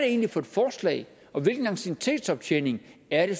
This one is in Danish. egentlig for et forslag hvilken anciennitetsoptjening er det